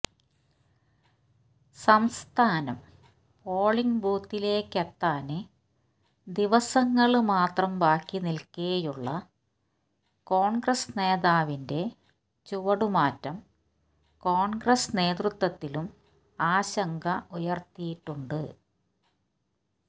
സംസ്ഥാനം പോളിങ് ബൂത്തിലേക്കെത്താന് ദിവസങ്ങള് മാത്രം ബാക്കി നില്ക്കെയുള്ള കോണ്ഗ്രസ് നേതാവിന്റെ ചുവടുമാറ്റം കോണ്ഗ്രസ് നേതൃത്വത്തിലും ആശങ്ക ഉയര്ത്തിയിട്ടുണ്ട്